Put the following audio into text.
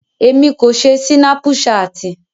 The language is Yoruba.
Emi ko ṣe Sinapuṣati.